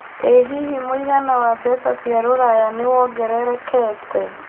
ĩ hihi mũigana wa mbeca cia rũraya nĩwongerekete